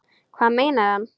Hvað meinar hann?